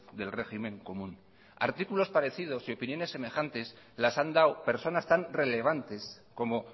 del régimen común artículos parecidos y opiniones semejantes las han dado personas tan relevantes como